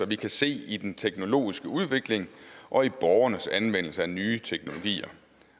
vi kan se i den teknologiske udvikling og i borgernes anvendelse af nye teknologier